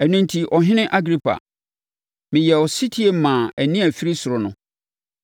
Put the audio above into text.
“Ɛno enti, Ɔhene Agripa, meyɛɛ ɔsetie maa nne a ɛfiri ɔsoro no.